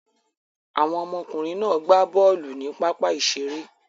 Àwọn ọmọkùnrin náà gbá bọ́ọ́lù ní pápá-ìṣeré.